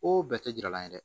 O bɛɛ tɛ jira la ye dɛ